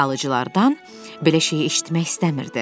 Alıcılardan belə şeyi eşitmək istəmirdi.